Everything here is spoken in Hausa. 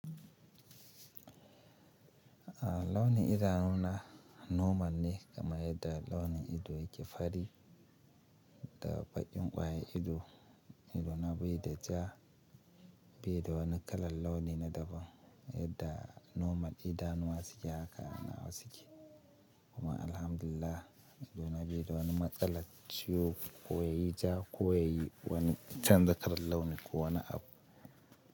Ah launi idanu na normal ne kam yadda launin ido yake fari da baƙin ƙwayan ido, inda na biyu da ja biyu da wani kalan launi na daban yadda normal idanuwa suke haka nawa suke kuma alhamdulillah ido na beye da wani matsala ciwo ko yayi ja ko yayi wani canza kalan launi ko wani abu.